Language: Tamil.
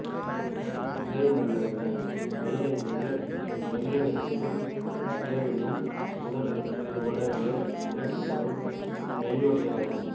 இதழ்மெல்லண்ண மெய் என்பது மெல்லண்ணத்திலும் இதழிலும் உதடு இரு தடவைகள் ஒலிக்கப்படும் மெய்யொலியாகும்